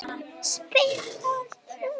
spyr Þórður